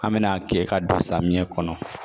An mɛna a kɛ ka don samiya kɔnɔ